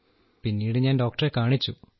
പിന്നീട് ഞാൻ ഡോക്ടറെ കാണിച്ചു